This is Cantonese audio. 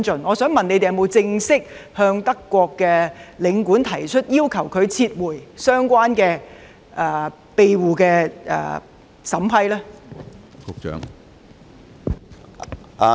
我想問當局有否正式向德國領事館提出，要求他們撤回相關庇護的批准呢？